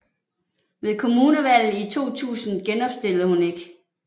Ved kommunalvalget i 2000 genopstillede hun ikke